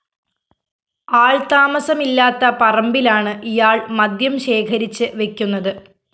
ആള്‍ താമസമില്ലാത്ത പറമ്പിലാണ് ഇയാള്‍ മദ്യം ശേഖരിച്ച് വെക്കുന്നത്